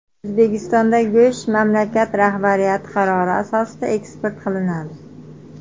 O‘zbekistonda go‘sht mamlakat rahbariyati qarori asosida eksport qilinadi.